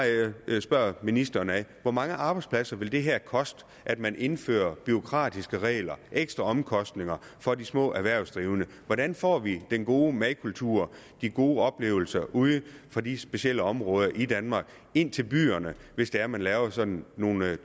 jeg spørger ministeren hvor mange arbejdspladser vil det her koste at man indfører bureaukratiske regler ekstra omkostninger for de små erhvervsdrivende hvordan får vi den gode madkultur de gode oplevelser ude fra de specielle områder i danmark ind til byerne hvis det er man laver sådan nogle